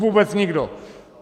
Vůbec nikdo.